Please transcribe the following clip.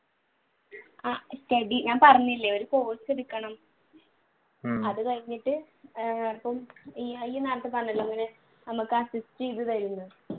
ഞാൻ പറഞ്ഞില്ലേ ഒരു post എടുക്കണം അത് കഴിഞ്ഞിട്ട് ഇപ്പം